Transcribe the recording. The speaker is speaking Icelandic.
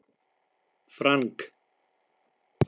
Frank